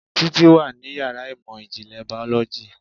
Títí wà ní yàrá ìmọ̀ ìjìnlẹ̀ Biology